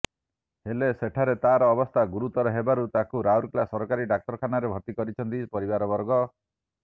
ହେଲେ ସେଠାରେ ତାର ଅବସ୍ଥା ଗୁରୁତର ହେବାରୁ ତାକୁ ରାଉରକେଲା ସରକାରୀ ଡାକ୍ତରଖାନାରେ ଭର୍ତ୍ତିକରିଛନ୍ତି ପରିବାରବର୍ଗ